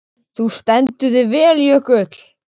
Þú stendur þig vel, Jökull!